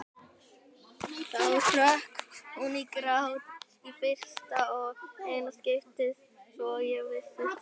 Þá hrökk hún í grát, í fyrsta og eina skiptið svo ég vissi til.